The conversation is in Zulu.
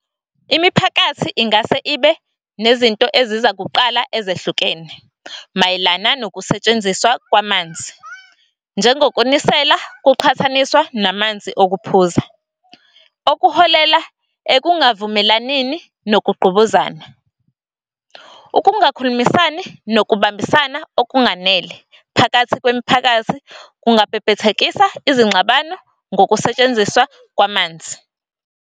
Imiphakathi ingase ibe nezinto ezizakuqala ezehlukene mayelana nokusetshenziswa kwamanzi, njengokunisela kuqhathaniswa namanzi okuphuza. Okuholela ekungavumelanini nokungqubuzana, ukungakhulumisani nokubambisana okunganele phakathi kwemiphakathi kungabhebhethekisa izingxabano ngokusetshenziswa kwamanzi.